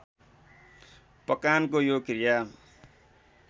पकानको यो क्रिया